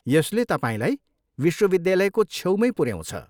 यसले तपाईँलाई विश्वविद्यालयको छेउमै पुऱ्याउँछ।